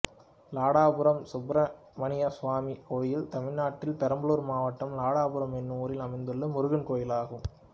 லாடபுரம் சுப்பிரமணியசுவாமி கோயில் தமிழ்நாட்டில் பெரம்பலூர் மாவட்டம் லாடபுரம் என்னும் ஊரில் அமைந்துள்ள முருகன் கோயிலாகும்